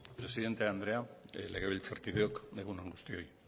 presidente andrea legebiltzarkideok egun on guztioi